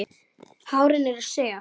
Hárin eru sef.